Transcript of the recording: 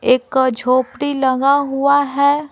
एक झोंपड़ी लगा हुआ है।